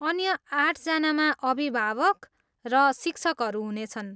अन्य आठजनामा अभिभावक र शिक्षकहरू हुनेछन्।